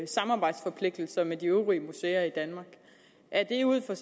samarbejdsforpligtelser med de øvrige museer i danmark er det ud fra